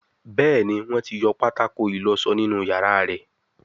Béèni Wón tí yọ pátákó ìlósó nínú iyàrá rẹ.